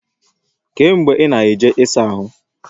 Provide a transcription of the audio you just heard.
Kee mgbe i na-eje i saa ahu?